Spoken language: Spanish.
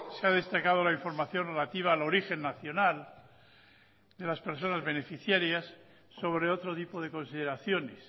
se ha destacado la información relativa al origen nacional de las personas beneficiarias sobre otro tipo de consideraciones